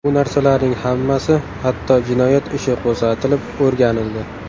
Bu narsalarning hammasi hatto jinoyat ishi qo‘zg‘atilib o‘rganildi.